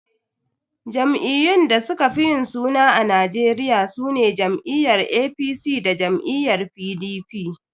Jam'iyyun da suka fi yin suna a Najeriya sune jam'iyyar APC da jam'iyyar PDP.